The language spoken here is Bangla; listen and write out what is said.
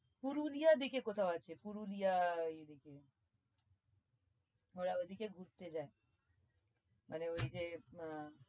পুরুলিয়ার দিকে কোথাও আছে পুরুলিয়া ওই দিকে ওরা ওইদিকে ঘুরতে যায় আরে ওই যে আহ